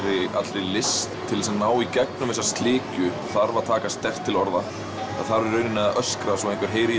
allri list til þess að ná í gegnum þessa slikju þarf að taka sterkt til orða það þarf í raun að öskra svo einhver heyri í